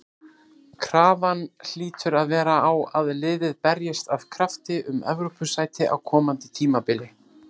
Krafan hlýtur að vera á að liðið berjist af krafti um Evrópusæti á komandi tímabili.